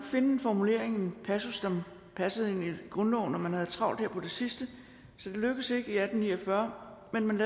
finde en formulering en passus som passede ind i grundloven og man havde travlt der på det sidste så det lykkedes ikke i atten ni og fyrre men man